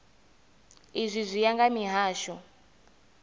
izwi zwi ya nga mihasho